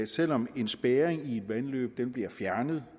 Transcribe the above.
selv om en spærring i et vandløb bliver fjernet